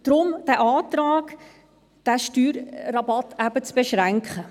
Deshalb dieser Antrag, diesen Steuerrabatt eben zu beschränken.